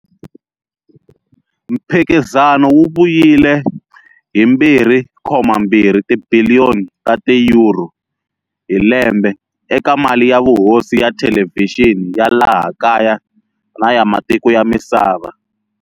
Mphikizano wu vuyile hi 2.2 tibiliyoni ta ti-euro hi lembe eka mali ya vuhosi ya thelevhixini ya laha kaya na ya matiko ya misava.